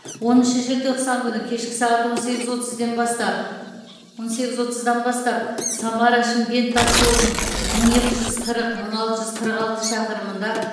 оныншы желтоқсан күні кешкі сағат он сегіз отызден бастап он сегіз отыздан бастап самара шымкент тасжолының мың екі жүз қырық мың алты жүз қырық алты шақырымында